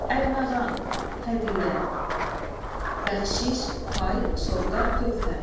Ərməğan, hədiyyə, bəxşiş, pay, sovqat, töhfə.